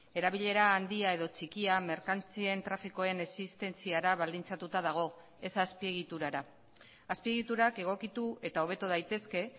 erabilera handia edo txikia merkantzien trafikoen existentziara baldintzatuta dago ez azpiegiturara azpiegiturak egokitu eta hobetu daitezke